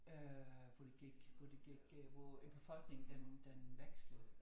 Øh hvor det gik hvor det gik øh hvor æ befolkning den den vekslede